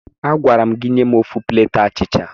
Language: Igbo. Agwara m gị nye m ofu pleeti abacha!